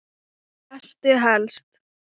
Hvað lestu helst?